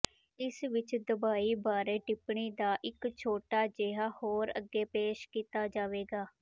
ਇਸ ਵਿੱਚ ਦਵਾਈ ਬਾਰੇ ਟਿੱਪਣੀ ਦਾ ਇੱਕ ਛੋਟਾ ਜਿਹਾ ਹੋਰ ਅੱਗੇ ਪੇਸ਼ ਕੀਤਾ ਜਾਵੇਗਾ